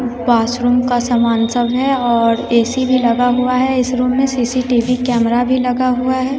Washroom का सामान सब है और ए_सी भी लगा हुआ है इस रुम में सी_सी_टी_वी कैमरा भी लगा हुआ है।